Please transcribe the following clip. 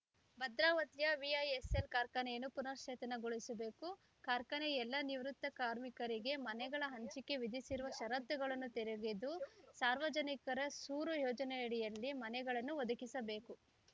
ಭದ್ರಾವತಿಯ ವಿಐಎಸ್‌ಎಲ್‌ ಕಾರ್ಖಾನೆಯನ್ನು ಪುನಶ್ಚೇತನಗೊಳಿಸಬೇಕು ಕಾರ್ಖಾನೆಯ ಎಲ್ಲ ನಿವೃತ್ತ ಕಾರ್ಮಿಕರಿಗೆ ಮನೆಗಳ ಹಂಚಿಕೆಗೆ ವಿಧಿಸಿರುವ ಷರತ್ತುಗಳನ್ನು ತೆರೆಗೆದು ಸರ್ವರಿಗೆ ಸೂರು ಯೋಜನೆಯಡಿಯಲ್ಲಿ ಮನೆಗಳನ್ನು ಒದಗಿಸಬೇಕು